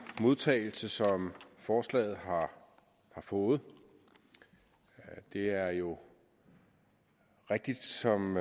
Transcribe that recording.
modtagelse som forslaget har fået det er jo rigtigt som